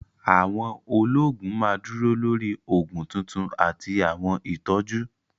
Àwọn olóògùn ma dúró lórí oògùn tuntun àti àwọn ìtọ́jú